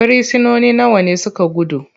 frisinoni nawa ne suka gudu?